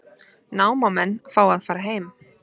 Námamenn fá að fara heim